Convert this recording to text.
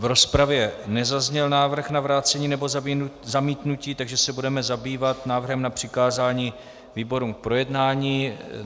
V rozpravě nezazněl návrh na vrácení nebo zamítnutí, takže se budeme zabývat návrhem na přikázání výborům k projednání.